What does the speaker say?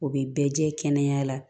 O bɛ bɛɛ jɛ kɛnɛya la